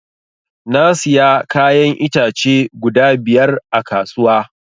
Na siya kayan itace guda biyar a kasuwa